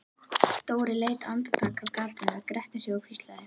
Dóri leit andartak af gatinu, gretti sig og hvíslaði: